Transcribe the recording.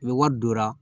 U bɛ wari donna